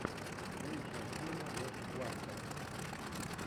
лучшая серия леши кластера